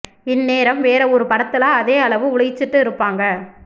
இந்நேரம் வேற ஒரு படத்துல அதே அளவு உழைச்சுட்டு இருப்பாங்க